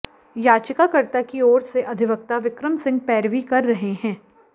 याचिकाकर्ता की ओर से अधिवक्ता विक्रम सिंह पैरवी कर रहे हैं